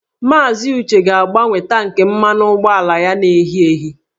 Maazị Uche ga-agbanwe tankị mmanụ ụgbọala ya na-ehi ehi